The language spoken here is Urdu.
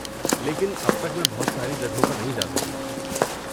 لیکن اب تک میں بہت ساری جگہوں پر نہیں جا سکی۔